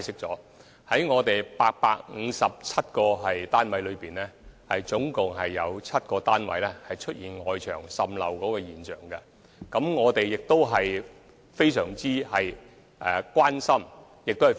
在857個單位中，有7個單位牆身出現滲漏，我們對此非常關注。